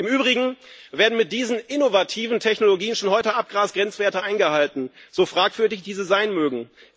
Im Übrigen werden mit diesen innovativen Technologien schon heute Abgasgrenzwerte eingehalten, so fragwürdig diese sein mögen.